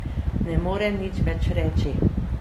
Ne morem nič več reči.